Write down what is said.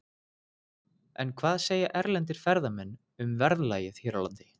En hvað segja erlendir ferðamenn um verðlagið hér á landi?